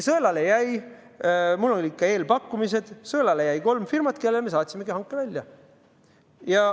Sõelale jäi – mul olid ka eelpakkumised –, sõelale jäi kolm firmat, kellele me saatsimegi hanke välja.